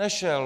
Nešel.